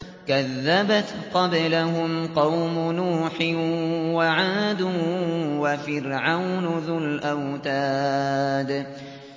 كَذَّبَتْ قَبْلَهُمْ قَوْمُ نُوحٍ وَعَادٌ وَفِرْعَوْنُ ذُو الْأَوْتَادِ